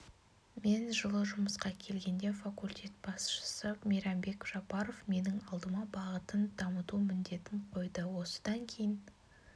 мен жылы жұмысқа келгенде факультет басшысы мейрамбек жапаров менің алдыма бағытын дамыту міндетін қойды осыдан кейін